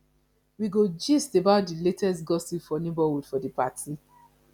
we go gist about di latest gossip for neighborhood for di party